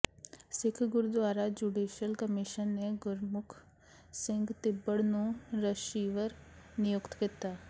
ਸਿੱਖ gurdwara judicial commission ਨੇ ਗੁਰਮੁਖ ਸਿੰਘ ਤਿੱਬੜ ਨੂੰ receiver ਨਿਯੁਕਤ ਕੀਤਾ